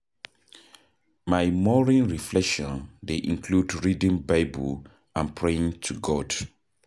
My morning reflection dey include reading Bible and praying to God.